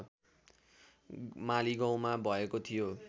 मालीगाउँमा भएको थियो